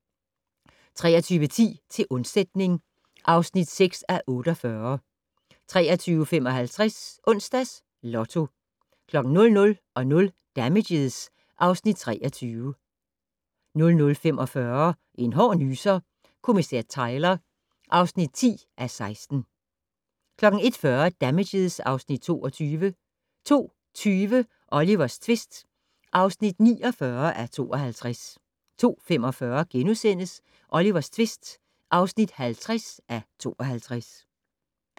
23:10: Til undsætning (6:48) 23:55: Onsdags Lotto 00:00: Damages (Afs. 23) 00:45: En hård nyser: Kommissær Tyler (10:16) 01:40: Damages (Afs. 22) 02:20: Olivers tvist (49:52) 02:45: Olivers tvist (50:52)*